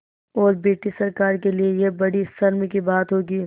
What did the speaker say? और ब्रिटिश सरकार के लिये यह बड़ी शर्म की बात होगी